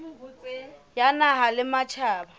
ya naha le ya matjhaba